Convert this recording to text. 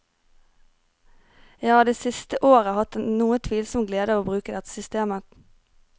Jeg har det siste året hatt den noe tvilsomme glede av å bruke dette systemet.